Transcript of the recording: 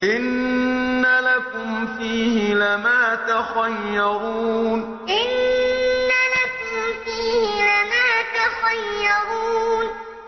إِنَّ لَكُمْ فِيهِ لَمَا تَخَيَّرُونَ إِنَّ لَكُمْ فِيهِ لَمَا تَخَيَّرُونَ